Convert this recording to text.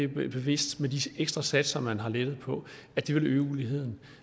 bevidst med de ekstra satser man har lettet på og at det vil øge uligheden